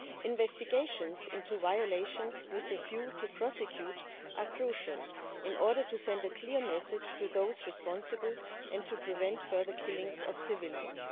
Investigations into violations with a view to prosecute are crucial in order to send a clear message to those responsible and to prevent further killings of civilians.